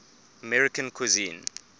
american cuisine